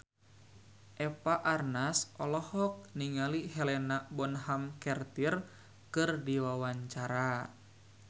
Eva Arnaz olohok ningali Helena Bonham Carter keur diwawancara